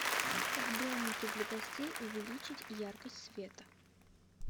в домике для гостей увеличить яркость света